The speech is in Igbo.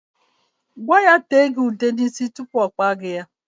Gwa ya tee gị ude n'isi tupu ọ kpaa gị ya.